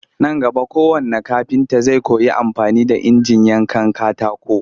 Nan gaba kowannn kafinta zai koyi amfani da injinan yankan katako